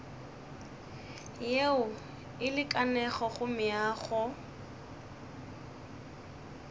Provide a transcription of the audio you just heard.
yeo e lekanego go meago